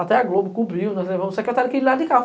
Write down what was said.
Até a Globo cobriu, nós levamos a secretária que ia lá de carro.